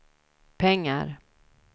pengar